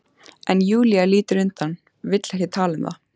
En Júlía lítur undan, vill ekki tala um það.